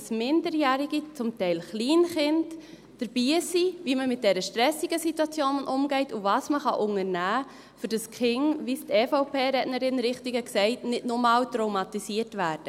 dass Minderjährige, zum Teil Kleinkinder, dabei sind, wie man mit dieser stressigen Situation umgeht, und was man unternehmen kann, damit die Kinder, wie es die EVP-Rednerin richtig gesagt hat, nicht nochmals traumatisiert werden.